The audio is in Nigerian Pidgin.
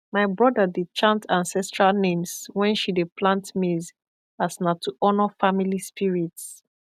my brother dey chant ancestral names when she dey plant maize as na to honour family spirits